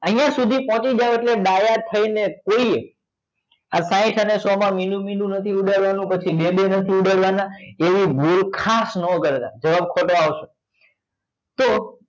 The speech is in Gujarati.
અહિયાં સુધી પહોચી જાવ એટલે ડાયા થઇ ને કોઈએ આ સાહીંઠ અને સો માં મીંડું મીંડું નથી ઉડાડવા નું પછી બે બે નથી ઉડાડવા ના એવી ભૂલ ખાસ નાં કરતા જવાબ ખોટો આવશે તો